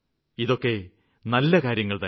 ഇതൊക്കെ നല്ല കാര്യങ്ങള്തന്നെ